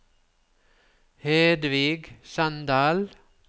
Hedvig Sandal